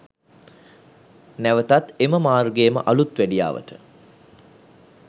නැවතත් එම මාර්ගය ම අලුත් වැඩියාවට